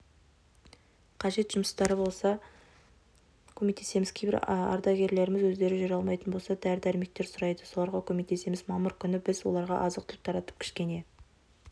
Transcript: қажет жұмыстары болса көмектесеміз кейбір ардагерлеріміз өздері жүре алмайтын болса дәрі-дәрмектер сұрайды соларға көмектесеміз мамыр күні біз оларға азық-түлік таратып кішкене